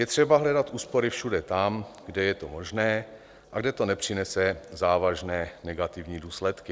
Je třeba hledat úspory všude tam, kde je to možné a kde to nepřinese závažné negativní důsledky.